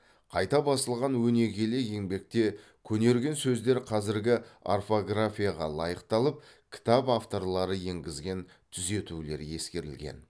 қайта басылған өнегелі еңбекте көнерген сөздер қазіргі орфографияға лайықталып кітап авторлары енгізген түзетулер ескерілген